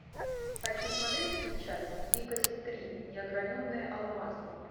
хочу смотреть сейчас дикость три неограненные алмазы